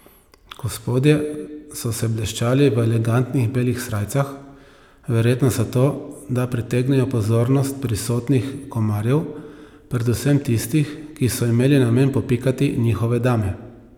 Gospodje so se bleščali v elegantnih belih srajcah, verjetno zato, da pritegnejo pozornost prisotnih komarjev, predvsem tistih, ki so imeli namen popikati njihove dame.